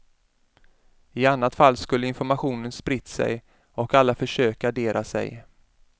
I annat fall skulle informationen spritt sig och alla försökt gardera sig.